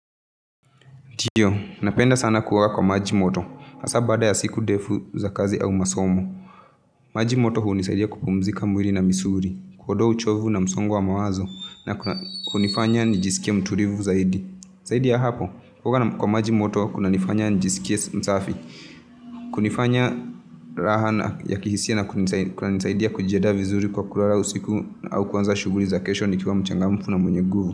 Ndio, napenda sana kuwa kwa maji moto, hasa baada ya siku ndefu za kazi au masomo. Maji moto hunisaidi ya kupumzika mwili na misuli, kuondoa uchovu na msongo wa mawazo, na kunifanya nijisikie mutulivu zaidi. Zaidi ya hapo, kuoga kwa maji moto, kunifanya nijisikie msafi, kunifanya raha na ya kihisia na kunanisaidi ya kujianda vizuri kwa kulala usiku au kuanza shughuli za kesho nikiwa mchangamfu na mwenye nguvu.